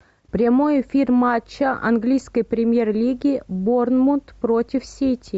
прямой эфир матча английской премьер лиги борнмут против сити